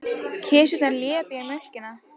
Kisurnar lepja mjólkina.